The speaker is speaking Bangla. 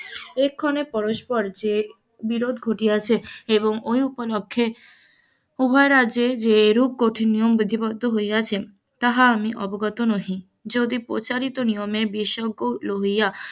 এক্ষণে পরস্পর যে বিরোধ ঘটিয়াছে এবং ওই উপলক্ষ্যে উভয় রাজ্যে যেরূপ বিধিবদ্ধ হইয়াছে, হাত আমি অবগত নহি, যদি প্রচারিত নিয়মের লইয়া,